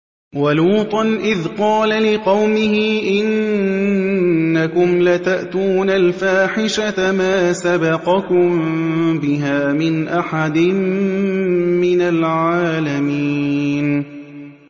وَلُوطًا إِذْ قَالَ لِقَوْمِهِ إِنَّكُمْ لَتَأْتُونَ الْفَاحِشَةَ مَا سَبَقَكُم بِهَا مِنْ أَحَدٍ مِّنَ الْعَالَمِينَ